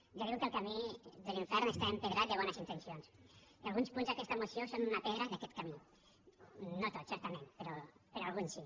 ja diuen que el camí de l’infern està empedrat de bones intencions i alguns punts d’aquesta moció són una pedra d’aquest camí no tots certament però alguns sí